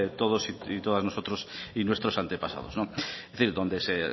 todos y todas nosotros y nuestros antepasados es decir